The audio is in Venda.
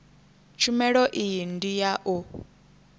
tshumelo iyi ndi ya u